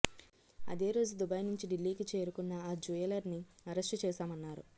అదే రోజు దుబాయి నుంచి ఢిల్లీకి చేరుకున్న ఆ జుయలర్నీ అరెస్టు చేశామన్నారు